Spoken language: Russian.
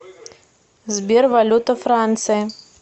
сбер валюта франции